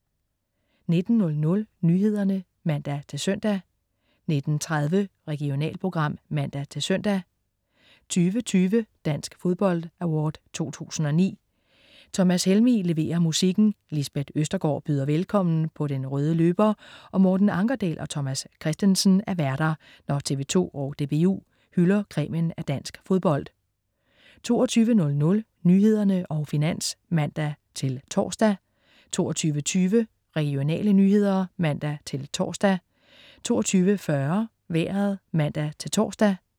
19.00 Nyhederne (man-søn) 19.30 Regionalprogram (man-søn) 20.20 Dansk Fodbold Award 2009. Thomas Helmig leverer musikken, Lisbeth Østergaard byder velkommen på den røde løber, og Morten Ankerdal og Thomas Kristensen er værter, når TV 2 og DBU hylder cremen af dansk fodbold 22.00 Nyhederne og Finans (man-tors) 22.20 Regionale nyheder (man-tors) 22.40 Vejret (man-tors)